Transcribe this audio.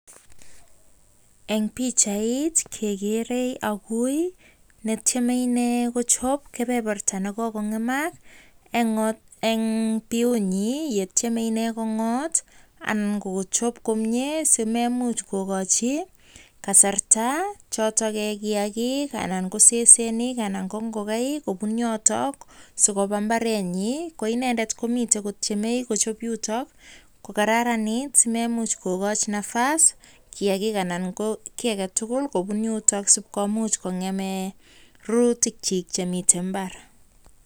En pichait kegere agui netyeme inee kochob kebeberta ne kogong'emak en biunyin ye tyeme inee kong'ot anan kochob komye simeimuch kogochi kasarta chotok kiyagik anan ko sesenik, anan ko ngogaik kobun yoto sikoba mbarenyin. Ko inendet komiten kotyeme kochub yuto kokararanit asi maimuch kogoch nafas kiyagik anan ko kiy age tugul kobun yotok sib komuch kongem rurutikchik chemiten mbar.